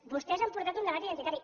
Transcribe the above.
vostès han portat un debat identitari